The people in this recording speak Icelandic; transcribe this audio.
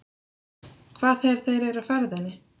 Hvað þegar þeir eru á ferðinni?